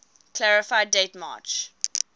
clarify date march